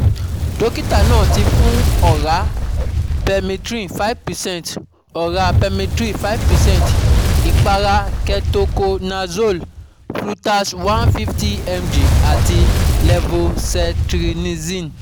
Dọkita naa ti fun ọra Permethrin five percent, ọra Permethrin five percent, ipara Ketoconazole, Flutas one fifty mg, ati Levocetirizine